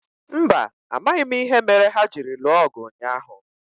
Mba, amaghị m ìhè méré hà jiri lụọ ọgụ ụnyaahụ